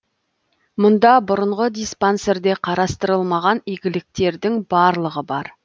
мұнда бұрынғы диспансерде қарастырылмаған игіліктердің барлығы бар